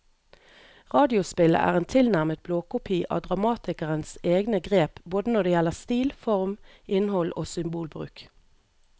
Radiospillet er en tilnærmet blåkopi av dramatikerens egne grep både når det gjelder stil, form, innhold og symbolbruk.